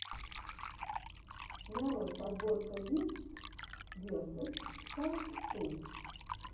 нарой подборка гифтс весос саунд ту